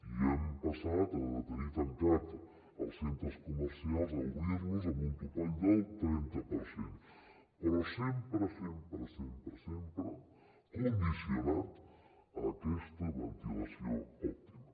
i hem passat de tenir tancats els centres comercials a obrir los amb un topall del trenta per cent però sempre sempre sempre sempre condicionat a aquesta ventilació òptima